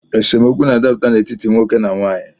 Esemokwu na-adaputa n’etiti nwoke na nwaanyị